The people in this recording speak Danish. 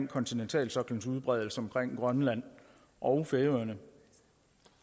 kontinentalsoklens udbredelse omkring grønland og færøerne